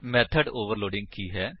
method overloading ਕੀ ਹੈ